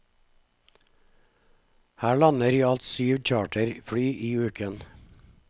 Her lander i alt syv charterfly i uken.